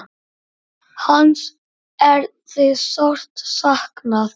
Hans er því sárt saknað.